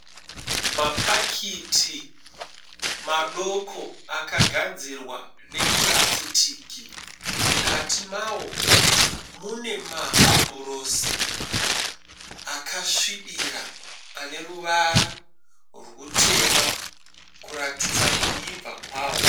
Mapakiti madoko akagadzirwa nepurasitiki. Mukati mawo mune mahabhurosi akasvibira aneruvara rwutema kuratidza kuibva kwawo.